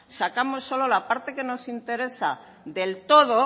sacamos solo la parte que nos interesa del todo